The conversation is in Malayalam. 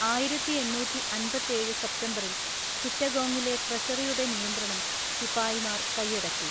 ആയിരത്തിഎണ്ണൂറ്റിഅന്‍പത്തേഴ് സെപ്റ്റംബറിൽ ചിറ്റഗോങ്ങിലെ ട്രഷറിയുടെ നിയന്ത്രണം ശിപായിമാര്‍ കയ്യടക്കി.